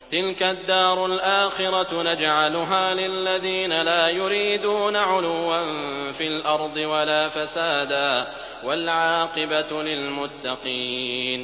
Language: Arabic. تِلْكَ الدَّارُ الْآخِرَةُ نَجْعَلُهَا لِلَّذِينَ لَا يُرِيدُونَ عُلُوًّا فِي الْأَرْضِ وَلَا فَسَادًا ۚ وَالْعَاقِبَةُ لِلْمُتَّقِينَ